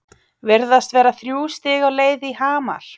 Virðast vera þrjú stig á leið í Hamar?